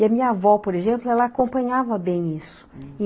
E a minha avó, por exemplo, ela acompanhava bem isso.